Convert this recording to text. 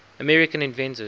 american inventors